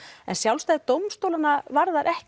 en sjálfstæði dómstólanna varðar ekki